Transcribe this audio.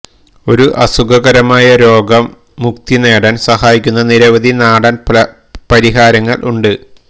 ഒരു അസുഖകരമായ രോഗം മുക്തി നേടാൻ സഹായിക്കുന്ന നിരവധി നാടൻ പരിഹാരങ്ങൾ ഉണ്ട്